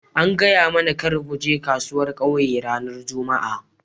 An gaya mana kar mu je kasuwar ƙauye ranan jumma'a.